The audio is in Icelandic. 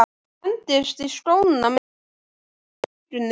Hendist í skóna með syfju í augunum.